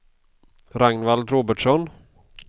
Ragnvald Robertsson